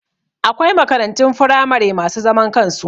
Akwai makarantun firamare masu zaman kansu